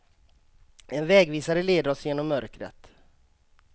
En vägvisare leder oss genom mörkret.